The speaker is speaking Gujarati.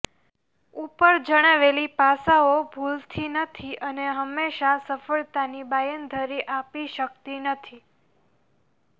ઉપર જણાવેલી પાસાઓ ભૂલથી નથી અને હંમેશા સફળતાની બાંયધરી આપી શકતી નથી